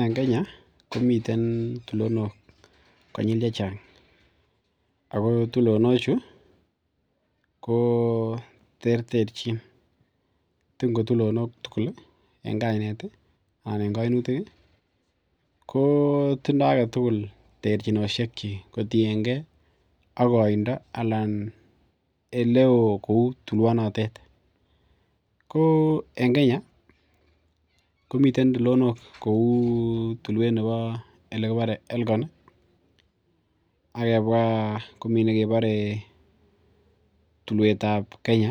En Kenya komiten tulinilok konyil chechang ako tulinok chu ih ko terterchin. Matin ki tulinok tugul en kainet ih anan en kaimutik ih ko tindoo agetugul terchinosiekchik kotienge ak kaindo neoo kuoo tulwanotet. Ko en Kenya ih komiten tulinok kouu yekibore Elko ih akebwa komi nekebare tuluetab Kenya